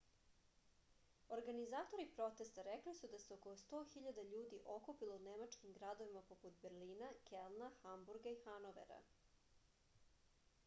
organizatori protesta rekli su da se oko 100 000 ljudi okupilo u nemačkim gradovima poput berlina kelna hamburga i hanovera